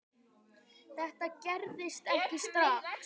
Þetta gerist ekki strax.